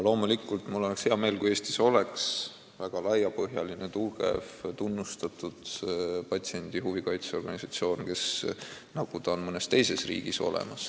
Loomulikult oleks mul hea meel, kui Eestis oleks väga laiapõhjaline, tugev ja tunnustatud patsientide huve kaitsev organisatsioon, nagu on mõnes teises riigis.